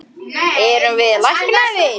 Erum við læknaðir?